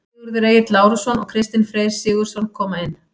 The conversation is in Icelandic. Sigurður Egill Lárusson og Kristinn Freyr Sigurðsson koma inn.